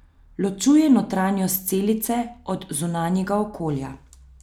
Ločuje notranjost celice od zunanjega okolja.